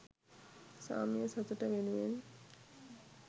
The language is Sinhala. සාමය සතුට වෙනුවෙන්